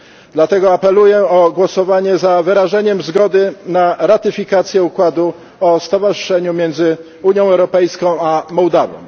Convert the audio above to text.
Dlatego apeluję o głosowanie za wyrażeniem zgody na ratyfikację układu o stowarzyszeniu między Unią Europejską a Mołdową.